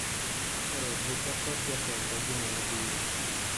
Ero bucha kod jatenda juma mabiro.